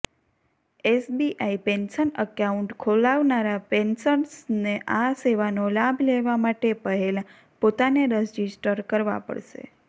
SBI pension account ખોલાવનારા પેન્શનર્સને આ સેવાનો લાભ લેવા માટે પહેલાં પોતાને રજિસ્ટર કરવા પડશે